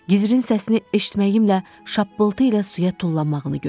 Gizirin səsini eşitməyimlə şappıltı ilə suya tullanmağını gördüm.